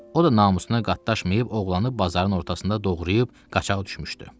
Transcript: O da namusuna qatlaşmayıb oğlanı bazarın ortasında doğrayıb qaçaq düşmüşdü.